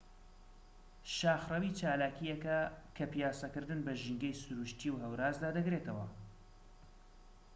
شاخڕەوی چالاکیەکە کە پیاسەکردن بە ژینگەی سروشتی و هەورازدا دەگرێتەوە